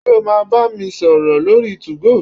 Ṣé o máa bá mi sọ̀rọ̀ lórí 2go?